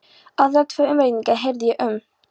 Aðra tvo umrenninga heyrði ég um.